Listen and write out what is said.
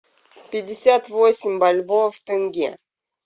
пятьдесят восемь бальбоа в тенге